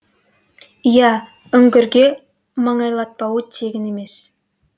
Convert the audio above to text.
иә үңгірге маңайлатпауы тегін емес